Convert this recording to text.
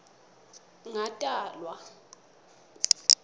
ngatalwa